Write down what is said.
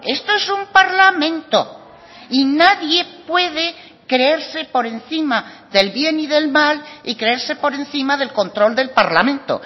eh esto es un parlamento y nadie puede creerse por encima del bien y del mal y creerse por encima del control del parlamento